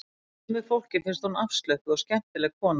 Sumu fólki finnst hún afslöppuð og skemmtileg kona